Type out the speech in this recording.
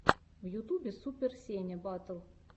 в ютубе супер сеня батл